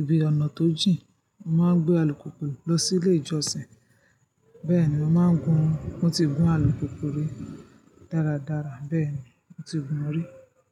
ibi ọ̀nà tó jìn, mó máa ń gbé alùpùpù lọ sílé ìjọsìn. Bẹ́ẹ̀ ni mo màá gun, mo ti gun alùpùpù rí dáradára, bẹ́ẹ̀ni mo ti gun rí.